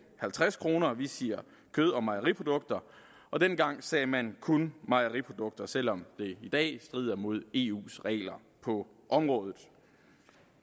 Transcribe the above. halvtreds kroner vi siger kød og mejeriprodukter og dengang sagde man kun mejeriprodukter selv om det i dag strider mod eus regler på området